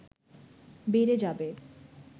বেড়ে যাবে